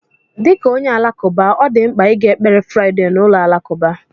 Dị ka onye Alakụba, ọ dị mkpa ịga ekpere Fraịdee na ụlọ alakụba.